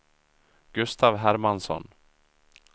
Gustav Hermansson